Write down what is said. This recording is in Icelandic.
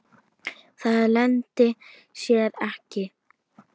Það leyndi sér ekki.